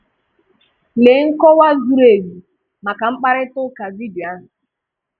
Lee nkọwa zụrụ ezu maka mkparita ụka vidio ahụ.